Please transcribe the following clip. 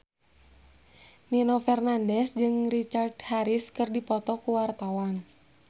Nino Fernandez jeung Richard Harris keur dipoto ku wartawan